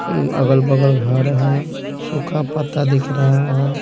अअअगल-बगल घर है सूखा पत्ता दिख रहा है।